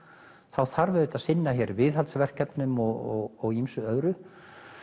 þá þarf auðvitað að sinna hér viðhaldsverkefnum og ýmsu öðru